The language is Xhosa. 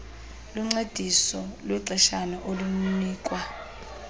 luncediso lwexeshana olunikwa